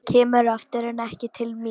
Kemur aftur en ekki til mín.